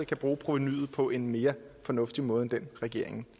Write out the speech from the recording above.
kan bruge provenuet på en mere fornuftig måde end den regeringen